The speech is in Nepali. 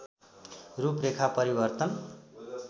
रूपरेखा परिवर्तन